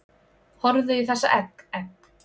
Horfðu í þessa egg, egg